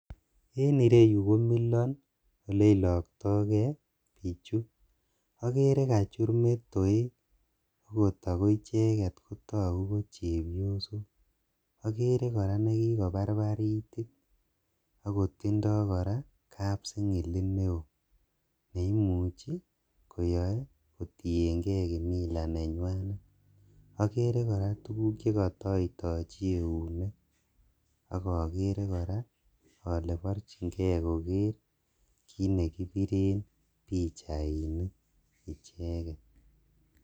En ireyuu komilon eleilokto kee bichuu, okeree kachur metoek akoo icheket kotokuu ko chepiosok, okeree kora nekikobarbar itit akotindo koraa kapsing'ilit neoo neimuchi koyoe kotieng'e kimila nenywanet, okeree kora tukuk chekotoitochi eunek, akoo keree kora olee borching'ee kokeer kiit nekibiren pichainik icheket.